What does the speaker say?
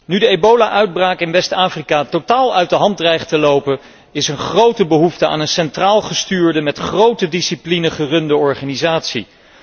Nu de ebola uitbraak in West Afrika totaal uit de hand dreigt te lopen, is er een grote behoefte aan een centraal gestuurde, met grote discipline gerunde organisatie.